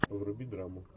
вруби драму